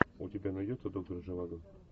у тебя найдется доктор живаго